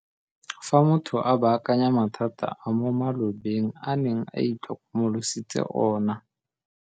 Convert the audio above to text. l Fa motho a baakanya mathata a mo malobeng a neng a itlhokomolositse ona.